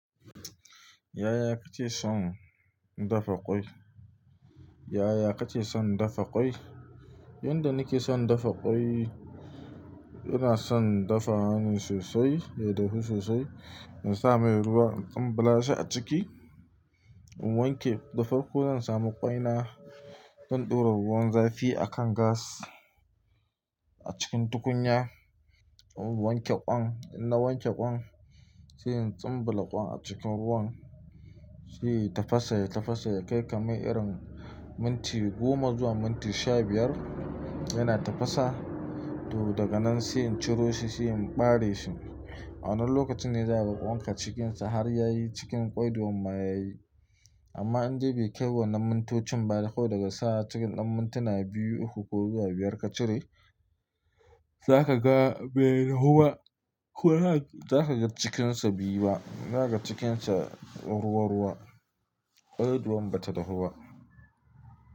Yaya kake son dafa ƙwai? Yaya kake son dafa ƙwai? Yanda nake son dafa ƙwai, ina son dafa wa ne sosai ya dahu sosai, in sa mai ruwa in tsumbulashi a ciki, in wanke. Da farko zan samu ƙwaina, zan ɗora ruwan zafi a kan gas a cikin tukunya, in wanke ƙwan. In na wanke ƙwan, sai in tsumbula ƙwan a cikin ruwan, sai ya tafasa, ya tafasa ya kai kamar irin minti goma zuwa minti sha biyar yana tafasa. To daga nan sai in ciro shi, sai in ɓare shi. Wannan lokacin ne za ka ga kwanka cikinsa har yayi cikin ƙwaiduwan ma yayi. Amma in dai bai kai wannan mintocin ba dai ko daga sa'a cikin ɗan mintuna biyu, uku ko zuwa biyar ka cire, za ka ga bai dahu ba ko haka za ka ga cikinsa be yi ba. Za ka ga cikinsa ruwa-ruwa, ƙwaiduwan bata dahu ba.